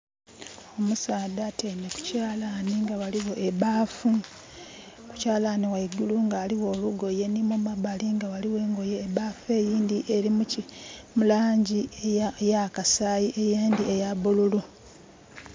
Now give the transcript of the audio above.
Omusaadha atyaime ku kyalani nga ghaligho ebbafu. Kukyalani ghaigulu nga ghaligho olugoye ni mumabali nga ghaligho olugoye. Ebbafu eyindhi eli mu langi eyakasaayi eyindi eyabululu.